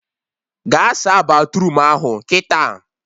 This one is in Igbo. Gaa saa batruum ahụ kịta!